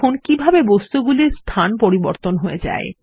দেখুন কিভাবে বস্তুগুলির স্থান পরিবর্তন হয়ে যায়